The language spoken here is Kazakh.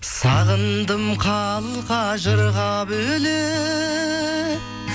сағындым қалқа жырға бөлеп